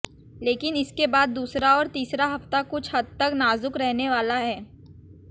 लेकिन इसके बाद दूसरा और तीसरा हफ्ता कुछ हद तक नाज़ुक रहने वाला है